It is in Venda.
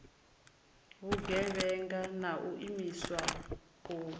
vhugevhenga na u imiswa u